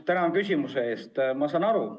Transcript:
Tänan küsimuse eest!